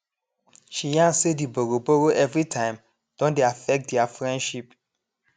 she yarn say the borrowborrow every time don dey affect their friendship